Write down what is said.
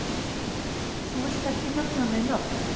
Þú villt ekkert nefna nein nöfn?